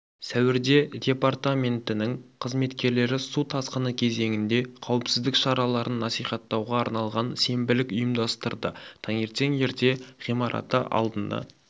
сәуірде департаментінің қызметкерлері су тасқыны кезеңінде қауіпсіздік шараларын насихаттауға арналған сенбілік ұйымдастырды таңертең ерте ғимараты алдында